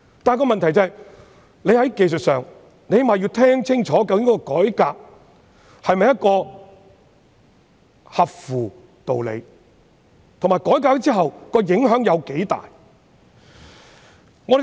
不過問題是，我們最少要清楚知道，究竟有關改革是否合理，以及在改革之後，影響有多大。